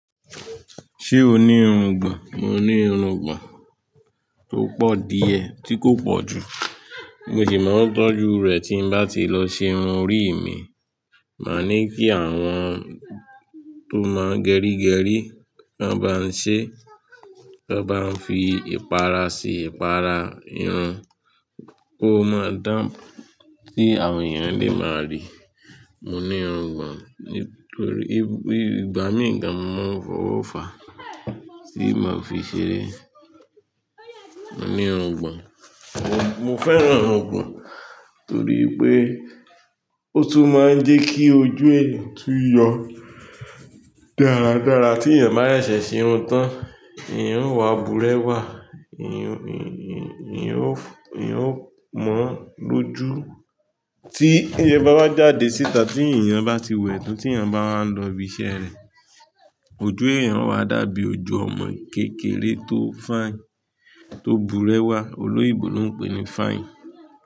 Ṣé o ní irugbọn? Mo ní irugbon tó pọ̀ díẹ̀ tí kò pọ̀ jù, mo ṣì máa ń tọ́jú rẹ̀ tí bá ti lọ ṣe irun orí mi. Máa ní kí àwọn tó máa ń gerigeri, tọ́n bá ń ṣe, tọ́n bá ń fi ìpara sí ìpara irun kó máa dán, kí àwọn ènìyàn lè máa rí. Mo ní irun gbon nítorí igba mì gan mo máa ń fọwọ́ fa mí màá n fi ṣeré. Mo ní irun gbàn, mo fẹ́ran irun gbàn torí pé ó tún máa ń jẹ́ kí ojú èèyàn tú yọ dáradára. Tí èèyàn bá sese se irun tán, eyan o wà búrẹ́wà, eyan, eyan o, eyan ó mọ́ lójú. Tí èèyàn bá wa jáde síta tí èèyàn bá ti wẹ̀ ẹ́ tán tí èèyàn bá wa n lọ ibi iṣẹ́ rẹ̀, ojú èèyàn o wá dàbí ojú ọmọ kékeré tó fine, tó búrẹ́wà, olóyinbò ló ń pè ní fine.